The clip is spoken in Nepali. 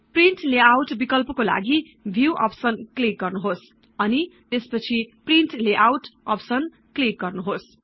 प्रिन्ट लेआउट बिकल्पकोलागि व्यू अप्सन क्लिक् गर्नुहोस् अनि त्यसपछि प्रिन्ट लेआउट अप्सन क्लिक् गर्नुहोस्